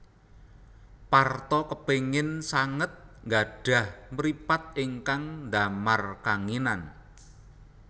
Parto kepingin sanget nggadhah mripat ingkang ndamar kanginan